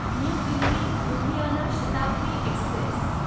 new Delhi Ludhiana Shatabdi Express